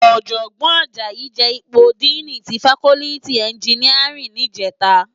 Òjògbòn Ajayi je ipó dìní ti fákòlìtí ènjìníárìn nijètá